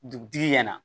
Dugutigi ɲɛna